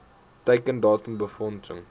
teiken datum befondsing